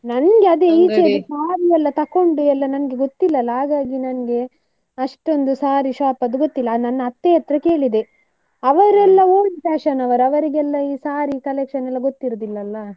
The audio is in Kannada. ನಂಗೆ ಅದೇ ಈಚೆದ್ದು saree ಎಲ್ಲಾ ತಕ್ಕೊಂಡು ಗೊತ್ತಿಲ್ಲ ಅಲ್ಲ, ಹಾಗಾಗಿ ನಂಗೆ ಅಷ್ಟೊಂದು saree shop ಎಲ್ಲಾ ಗೊತ್ತಿಲ್ಲ, ನನ್ನ ಅತ್ತೆ ಹತ್ರ ಕೇಳಿದೆ, ಅವರೆಲ್ಲ old fashion ನವರು ಅವರಿಗೆಲ್ಲ ಈ saree collection ಎಲ್ಲಾ ಗೊತ್ತಿರುದಿಲ್ಲ ಅಲ್ಲ.